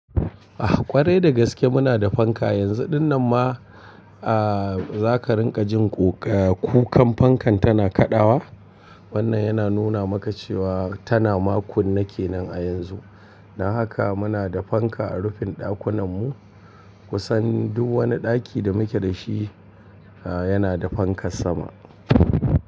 Ah kware da gaske muna da fanka yanzu dinnan ma aah zaka ringa jin kukan fankan tana kaɗawa. Wannan yana nuna maka cewa tana makunne kenan a yanzu. Don haka muna da fanka a rufin ɗakunan mu kusan duk wani ɗaki da muke da shi aah yana da fankar sama.